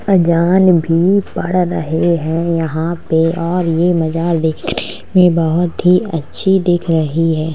अजान भी पढ़ रहे है यहाँ पे और ये मजहार देखने में बोहोत ही अच्छी दिख रही है।